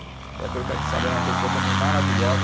Eh, pelo que a gente sabe, era uma pessoa também maravilhosa.